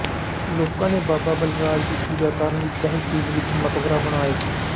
ਲੋਕਾਂ ਨੇ ਬਾਬਾ ਬਲਰਾਜ ਦੀ ਪੂਜਾ ਕਰਨ ਲਈ ਤਹਿਸੀਲ ਵਿੱਚ ਮਕਬਰਾ ਬਣਾਇਆ ਸੀ